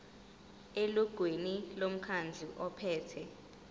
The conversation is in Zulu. elungwini lomkhandlu ophethe